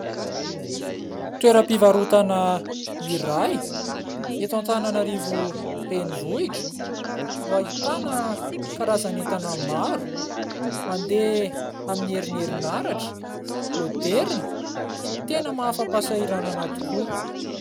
Toeram-pivarotana iray eto Antananarivo renivohitra no ahitana karazan'entana maro, mandeha amin'ny herin'ny herinaratra, maoderina tena maha afa-pahasahiranana tokoa.